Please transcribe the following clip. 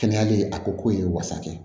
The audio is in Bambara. Kɛnɛya ye a ko k'o ye wasa kɛ